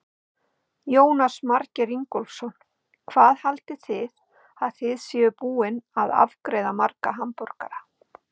Jónas Margeir Ingólfsson: Hvað haldið þið að þið séuð búin að afgreiða marga hamborgara?